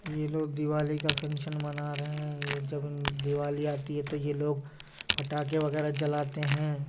ये लोग दिवाली का फंक्शन मना रहे हैं ये जगन दिवाली आती है तो ये लोग पटाखे वगैरा जलाते हैं।